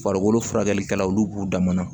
Farikolo furakɛlikɛlaw olu b'u dama na